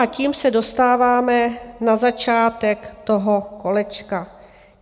A tím se dostáváme na začátek toho kolečka.